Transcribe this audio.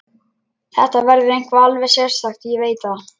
Þetta verður eitthvað alveg sérstakt, ég veit það.